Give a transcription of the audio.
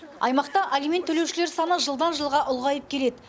аймақта алимент төлеушілер саны жылдан жылға ұлғайып келеді